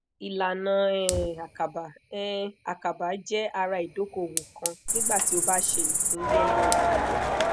ilana um akaba um akaba jẹ ara idokowo kan nigba ti o ba se ipin yele yele